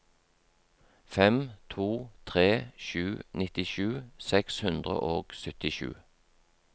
fem to tre sju nittisju seks hundre og syttisju